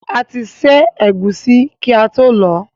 A ti ṣẹ́ ẹ̀gúsí kí ató lọ̀ọ́.